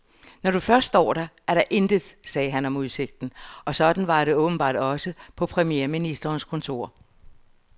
Når du først står der, er der intet, sagde han om udsigten, og sådan var det åbenbart også på premierministerens kontor.